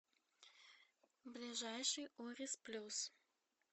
ближайший орис плюс